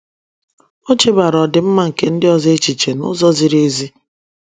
O chebaara ọdịmma nke ndị ọzọ echiche n’ụzọ ziri ezi.